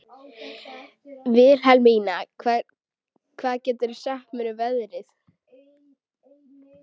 Vilhelmína, hvað geturðu sagt mér um veðrið?